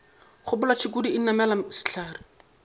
gopola tšhukudu o namele sehlare